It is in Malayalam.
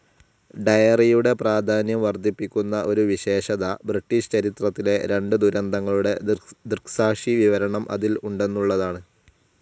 ഡയറിയുടെ പ്രാധാന്യം വർദ്ധിപ്പിക്കുന്ന ഒരു വിശേഷത ബ്രിട്ടീഷ് ചരിത്രത്തിലെ രണ്ടു ദുരന്തങ്ങളുടെ ദൃക്സാക്ഷിവിവരണം അതിൽ ഉണ്ടെന്നുള്ളതാണ്.